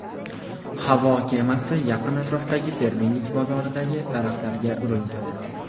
Havo kemasi yaqin atrofdagi fermerlik bozoridagi daraxtlarga urildi.